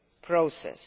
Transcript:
process.